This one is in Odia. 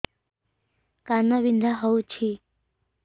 କାନ ବିନ୍ଧା ହଉଛି